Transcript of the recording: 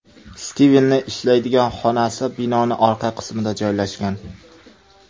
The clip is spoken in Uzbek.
Stivenning ishlaydigan xonasi binoning orqa qismida joylashgan.